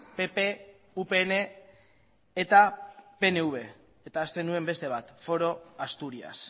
pp upn eta pnv eta ahazten nuen beste bat foro asturias